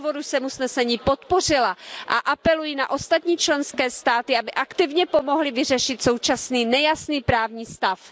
Z toho důvodu jsme usnesení podpořila a apeluji na ostatní členské státy, aby aktivně pomohly vyřešit současný nejasný právní stav.